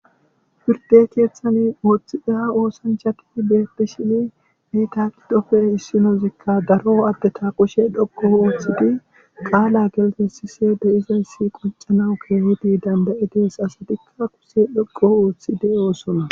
firde keeththani ooththi eha oosanchaki beepti shini nitaakidofe issinozikka daro adde ta qushe dhoqo ooththidi qaala gelte sise de7izayssi qoncanawu keehidi dandayidees asatikka kuse dhoqo ooththide oosona